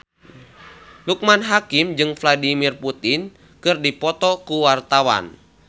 Loekman Hakim jeung Vladimir Putin keur dipoto ku wartawan